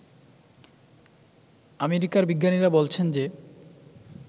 অ্যামেরিকার বিজ্ঞানীরা বলছেন যে